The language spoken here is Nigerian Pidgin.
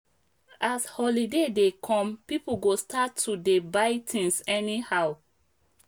as holiday dey come people go start to dey buy things anyhow